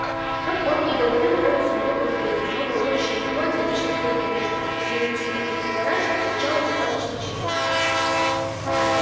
как он и говорил голос у него был хриплый но волнующая мелодия нечто среднее между клементиной и кукарачей звучала достаточно чисто